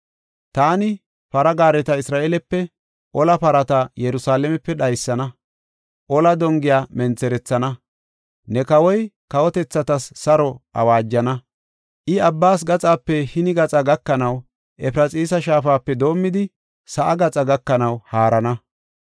Taani para gaareta Isra7eelepe, ola parata Yerusalaamepe dhaysana; ola dongiya mentherethana. Ne kawoy kawotethatas saro awaajana; I abbas gaxape hini gaxa gakanaw Efraxiisa shaafape doomidi sa7aa gaxaa gakanaw haarana.